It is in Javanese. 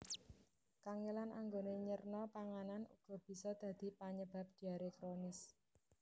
Kangèlan anggoné nyerna panganan uga bisa dadi panyebab diaré kronis